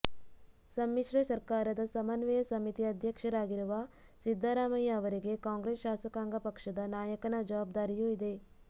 ಸಮ್ಮಿಶ್ರ ಸರ್ಕಾರದ ಸಮನ್ವಯ ಸಮಿತಿ ಅಧ್ಯಕ್ಷರಾಗಿರುವ ಸಿದ್ದರಾಮಯ್ಯ ಅವರಿಗೆ ಕಾಂಗ್ರೆಸ್ ಶಾಸಕಾಂಗ ಪಕ್ಷದ ನಾಯಕನ ಜವಾಬ್ದಾರಿಯೂ ಇದೆ